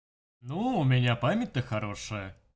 ну у меня память то хорошая